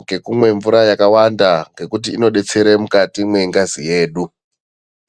ngekumwe mvura yakawanda ngekuti inodetsera mukati mwengazi yedu.